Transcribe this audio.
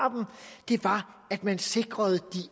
at man sikrede de